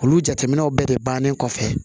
Olu jateminɛw bɛɛ de bannen kɔfɛ